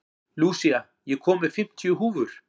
Lúsía, ég kom með fimmtíu húfur!